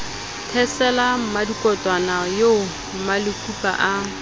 thesela mmadikotwana eo malekupa a